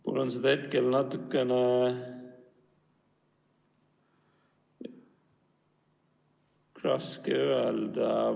Mul on seda hetkel raske öelda.